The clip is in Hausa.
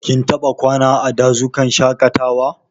Ka taɓa kwana a dazukan shaƙatawa?